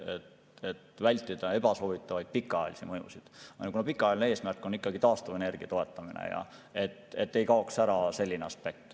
Põhjus on vältida ebasoovitavaid pikaajalisi mõjusid, kuna pikaajaline eesmärk on ikkagi taastuvenergia toetamine ja see aspekt ei tohi ära kaduda.